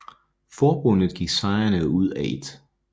Forbundet gik sejrende ud af 1